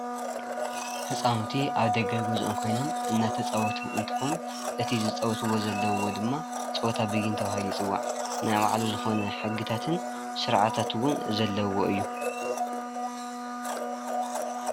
ህፃውንቲ ኣብ ደገ ገዝኦም ኮይኖም እንዳተፃወቱ እንትኮን እቲ ዝፃወትዎ ዘለዉ ድማ ፀወታ ቢይን ተባሂሉ ይፅዋዕ፡፡ ናይ ባዕሉ ዝኮኑ ሕግታትን ስርዓታትን እውን ዘለዉዎ እዩ፡፡